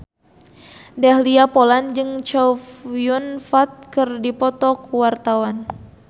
Dahlia Poland jeung Chow Yun Fat keur dipoto ku wartawan